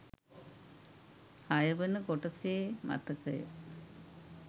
හයවන කොටසේ මතකය